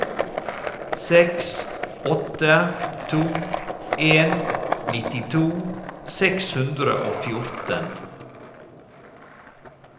seks åtte to en nittito seks hundre og fjorten